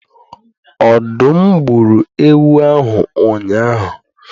Ọdụm gburu ewu ahụ ụnyahụ